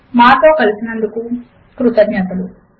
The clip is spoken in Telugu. మాతో కలిసినందుకు కృతజ్ఞతలు